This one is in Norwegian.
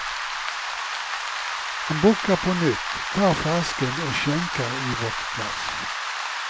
Han bukker på nytt, tar flasken og skjenker i vårt glass.